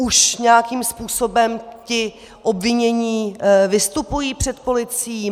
Už nějakým způsobem ti obvinění vystupují před policií?